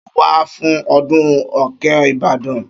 Ṣọ wà fún ọdún òkè Ìbàdàn?